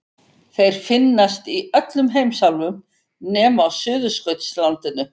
Þeir finnast í öllum heimsálfum nema á Suðurskautslandinu.